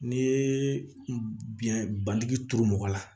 N'i ye biyɛn bandigi turu mɔgɔ la